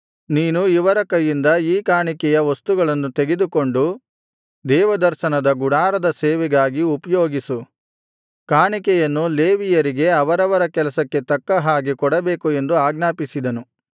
ನೀನು ಇವರ ಕೈಯಿಂದ ಈ ಕಾಣಿಕೆಯ ವಸ್ತುಗಳನ್ನು ತೆಗೆದುಕೊಂಡು ದೇವದರ್ಶನದ ಗುಡಾರದ ಸೇವೆಗಾಗಿ ಉಪಯೋಗಿಸು ಕಾಣಿಕೆಯನ್ನು ಲೇವಿಯರಿಗೆ ಅವರವರ ಕೆಲಸಕ್ಕೆ ತಕ್ಕ ಹಾಗೆ ಕೊಡಬೇಕು ಎಂದು ಆಜ್ಞಾಪಿಸಿದನು